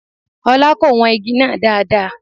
Ọlá kò wọn igi náà dáadáa.